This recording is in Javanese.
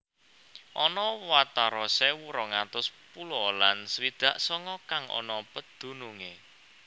Ana watara sewu rong atus pulo lan swidak songo kang ana pedunungé